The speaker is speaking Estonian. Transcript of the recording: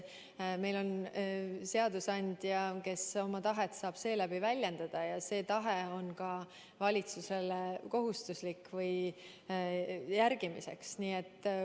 Meil on seadusandja, kes oma tahet saab väljendada, ja seda tahet peab valitsus järgima.